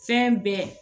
Fɛn bɛɛ